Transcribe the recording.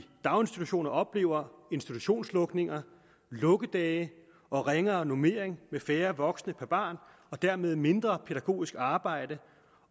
daginstitutioner oplever institutionslukninger lukkedage og ringere normering med færre voksne per barn og dermed mindre pædagogisk arbejde